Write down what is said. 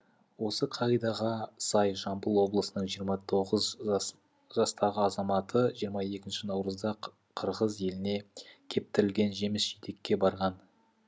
осы қағидаға сай жамбыл облысының жиырма тоғыз жастағы азаматы жиырма екінші наурызда қырғыз еліне кептірілген жеміс жидекке барған